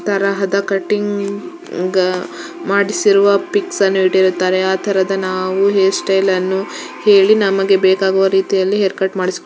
ಎಲ್ಲಾ ತರದ ಕಟಿಂಗ ಮಾಡಿಸಿರುವ ಪಿಕ್ಸ ನ್ನು ಇಟ್ಟಿರುತ್ತಾರೆ ಆ ತರದ ನಾವು ನಾವು ಹೇರ್ ಸ್ಟೈಲ್ ಅನ್ನು ಹೆಳಿ ನಮಗೆ ಬೇಕಾಗುವ ರೀತಿಯಲ್ಲಿ ಹೇರ್ ಕಟ್ ಮಾಡಿಸು --